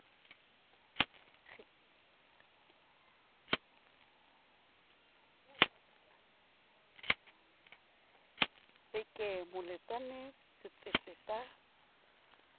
re ke moletsane setsetse sa